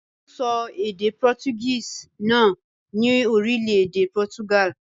Wọ́n ń sọ èdè Portuguese náà ní orílẹ̀-èdè Portugal.